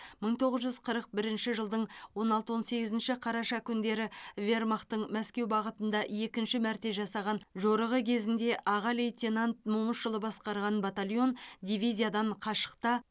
мың тоғыз жүз қырық бірінші жылдың он алты он сегізінші қараша күндері вермахтың мәскеу бағытында екінші мәрте жасаған жорығы кезінде аға лейтенант момышұлы басқарған батальон дивизиядан қашықта